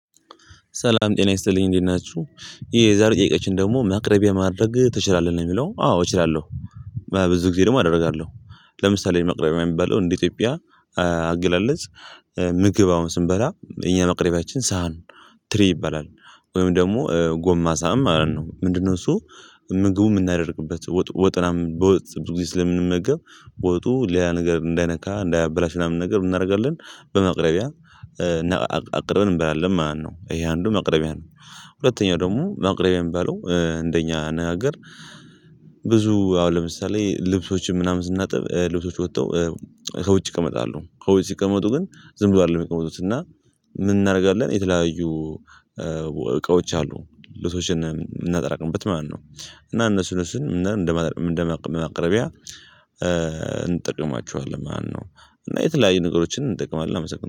ሰላም ጤና ይስጥልኝ እንዴት ናችሁ የዛሬ ጥያቄያችን ደግሞ ማቅረቢያ ማድረግ ትችላለህ ነው የሚለው አዎ እችላለሁ። ብዙ ጊዜ ደግሞ አደርጋለሁ። ለምሳሌ መቅረቢያ የሚባለው እንደ ኢትዮጵያ አገላለጽ ምግብ አሁን ስንበላ እኛ መቅረቢያችን ሳህን ትሪ ይባላል ወይም ደግሞ ጎማ ሳህም ማለት ነው። ምንድነው እሱ? ምግቡ የምናደርግበት ወጥ መምናምን ብዙ ጊዜ ስለምንመገብ ወጡ ሌላ ነገር እንዳይነካ እንዳያበላሽ ምናምን ነገር እናደርጋለን። በመቅረቢያ እና አቅርበን እንበላለን ማነው ይሄ አንዱ መቅረቢያ ነው። ሁለተኛው ደግሞ መቅረቢያ የሚባለው እንደኛ አነጋገር። ብዙ አሁን ለምሳሌ ልብሶችን ምናምን ስናጥብ ልብሶች ወጥተው ከውጭ ይቀመጣሉ ከውጭ ሲቀመጡ ግን ዝም ብሎ አይደለም የሚቀመጡት እና ምን እናደርጋለን የተለያዩ እቃዎች አሉ ልብሶችን ምናጠራቅምበት ማለት ነው። እና እነሱ እነሱን እንደ ማቅረቢያ እንጠቅማቸዋለን። እና የተለያዩ ነገሮችን እንጠቅማለን አመሰግናለሁ